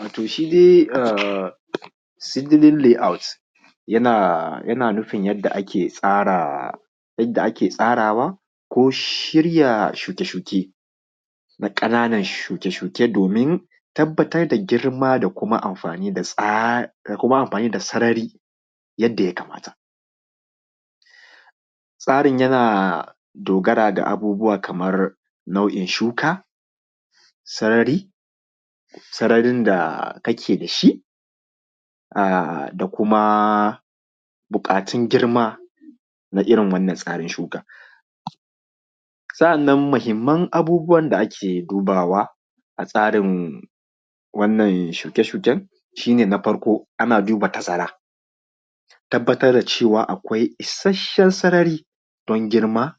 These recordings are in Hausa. Wato shidai ahm seedling layout yana yana nufin yadda ake tsara yadda ake tsarawa ko shirya shuke-shuken ƙananan shirya shuke-shuken domin tabbatar da girma da kuma amfani da tsa, da kuma amɸani da sarari yadda yakamata. Tsarin yana dogara da abubuwa kamar nau’in shuka, sarari sararin da kake da shi, ah da kuma buƙatun girma na irin tsarin wannan shukan. Sa’annan muhimman abubuwan da ake dubawa a tsarin wannan shuke-shukenas shi ne, na farko ana duba tazara, tabbatar da cewa akwai isasshen sarari, ban girma,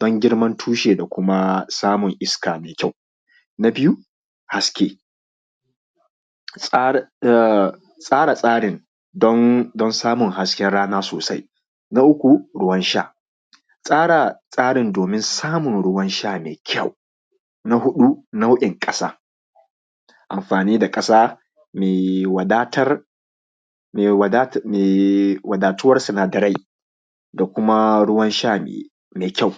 ban girman tushe da kuma samun iska mai kyau. Na biyu haske, tsara tsara tsarin don don samun hasken rana sosai. Na uku ruwan sha tsara tsara tsarin domin samun ruwan sha mai kyau. Na huɗu, nau’in ƙasa, amfani da ƙasa mai wadatar da me me wadatuwar sinadarai da kuma ruwan sha mai kyau.